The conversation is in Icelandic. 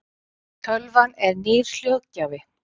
tölvan er nýr hljóðgjafi